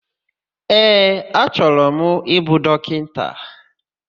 Ee, achọrọ m ịbụ dọkịta.